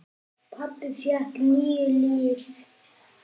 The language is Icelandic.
Pabbi fékk níu líf.